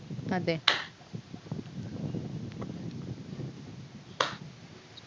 അതെ